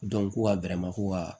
ko ka ko ka